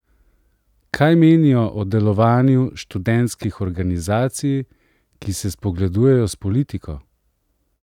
Kaj menijo o delovanju študentskih organizacij, ki se spogledujejo s politiko?